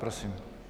Prosím.